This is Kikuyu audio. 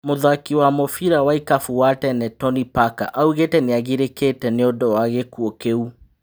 Mũthaki wa mũbira wa ikabũ wa tene Toni Baka augite niagirĩ kĩ te nĩ ũndũ wa gĩ kuũ kĩ u.